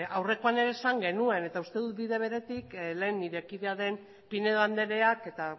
aurrekoan ere esan genuen eta uste dut bide beretik lehen nire kidea den pinedo andreak eta